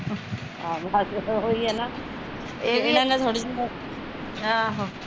ਆਹੋ ਉਹੀਂ ਐ ਨਾ ਏਹ ਵੀ